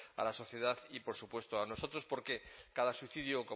a la sociedad y por supuesto a nosotros porque cada suicidio